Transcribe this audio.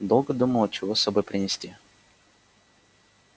долго думала чего с собой принести